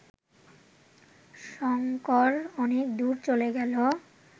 শঙ্কর অনেক দূর চলে গেল